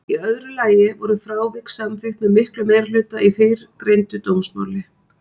Í öðru lagi voru frávik samþykkt með miklum meirihluta í fyrrgreindu dómsmáli.